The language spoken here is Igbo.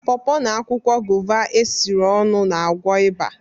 paw paw na akwụkwọ guava esiri ọnụ na-agwọ ịba